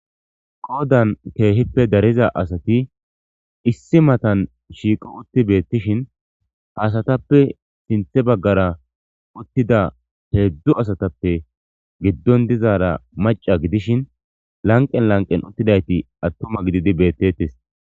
Qodan kehippe dariza asati issi matan shiiqo utti beettishin ha asatappe sinthe bagara uttida hedzdzu asatappe giddon dizara mac'a gidishin lanqen lanqen uttidayti attuma gididi betetes.